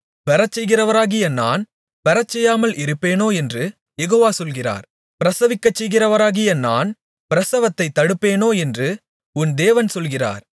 பெறச்செய்கிறவராகிய நான் பெறச்செய்யாமல் இருப்பேனோ என்று யெகோவா சொல்கிறார் பிரசவிக்கச்செய்கிறவராகிய நான் பிரசவத்தைத் தடுப்பேனோ என்று உன் தேவன் சொல்கிறார்